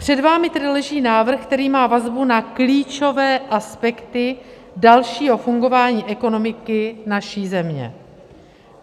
Před vámi tedy leží návrh, který má vazbu na klíčové aspekty dalšího fungování ekonomiky naší země.